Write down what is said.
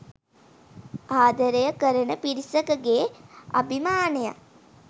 ආදරය කරණ පිරිසකගේ අභිමානයන්